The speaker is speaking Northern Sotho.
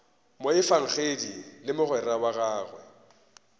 moefangedi le mogwera wa gagwe